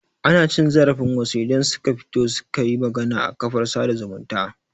Ana cin zarafin wasu idan suka fito suka yi magana a kafar sada zumunta